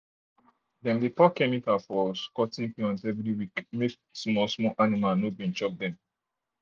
dem dey pour chemical for pour chemical for cotton plant every week make small small animal no chop am.